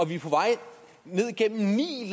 vi på vej ned gennem ni